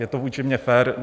Je to vůči mně fér?